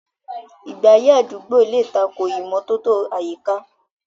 Ìgbé ayé àdúgbò lè tako ìmọ́tótó àyíká.